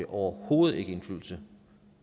overhovedet ikke indflydelse